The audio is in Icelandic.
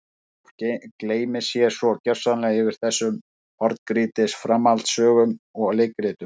Fólk gleymir sér svo gersamlega yfir þessum horngrýtis framhaldssögum og leikritum.